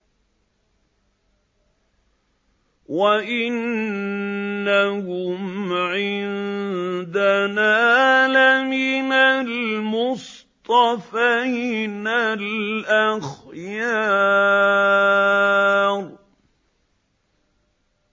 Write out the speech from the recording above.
وَإِنَّهُمْ عِندَنَا لَمِنَ الْمُصْطَفَيْنَ الْأَخْيَارِ